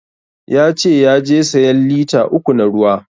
Ya ce yaje sayan lita uku na ruwa